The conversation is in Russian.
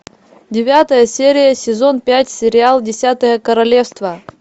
девятая серия сезон пять сериал десятое королевство